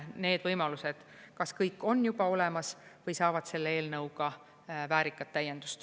Need võimalused kas kõik on juba olemas või saavad selle eelnõuga väärikat täiendust.